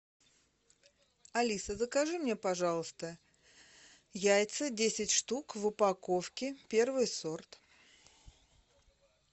алиса закажи мне пожалуйста яйца десять штук в упаковке первый сорт